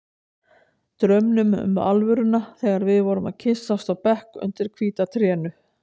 Draumnum um alvöruna þegar við vorum að kyssast á bekk undir hvíta trénu.